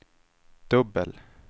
dubbel